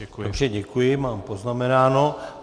Dobře, děkuji, mám poznamenáno.